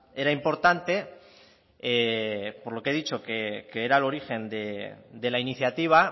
era importante por lo que he dicho que era el origen de la iniciativa